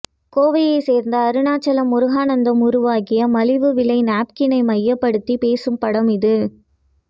கோவையை சேர்ந்த அருணாச்சலம் முருகானந்தம் உருவாக்கிய மலிவு விலை நாப்கினை மையப்படுத்தி பேசும் படம் இது